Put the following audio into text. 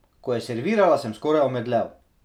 Ko je servirala, sem skoraj omedlel.